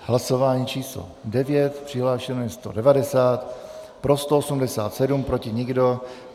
Hlasování číslo 9, přihlášeno je 190, pro 187, proti nikdo.